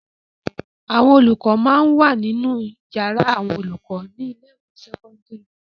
Àwọn olùkọ máa ń wà nínú yàrá àwọn olùkọ ní ilé-ìwé sẹ́kọ́ńdírì.